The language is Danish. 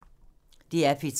DR P3